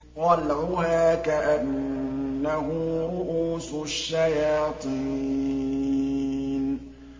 طَلْعُهَا كَأَنَّهُ رُءُوسُ الشَّيَاطِينِ